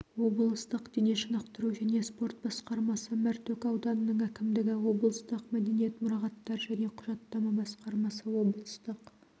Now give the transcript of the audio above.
облыстық дене шынықтыру және спорт басқармасы мәртөк ауданының әкімдігі облыстық мәдениет мұрағаттар және құжаттама басқармасы облыстық